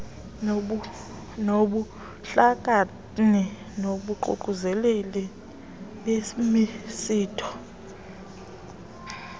nobuhlakani nabaququzeleli bemisitho